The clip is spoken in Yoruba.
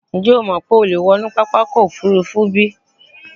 Ǹjẹ́ o mọ̀ pé o lè wọ inú pápákọ̀ òfúrufú bí?